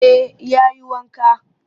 Eh ya yi wanka